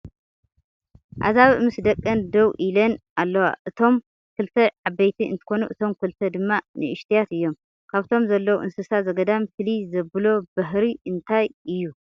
ኣዛብእ ምስ ደቀን ደው ኢለን ኣለዋ እቶም ክልተ ዕበይቲ እንትኮኑ እቶም ክልተ ድማ ንእሽቶያት እዮም ። ካብቶም ዘለዉ እንስሳ ዘገዳም ፍልይ ዘብሎ ባህሪ እንታይ እዩ ?